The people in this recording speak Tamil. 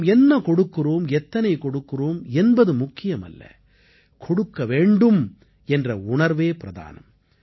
நாம் என்ன கொடுக்கிறோம் எத்தனை கொடுக்கிறோம் என்பது முக்கியமல்ல கொடுக்க வேண்டும் என்ற உணர்வே பிரதானம்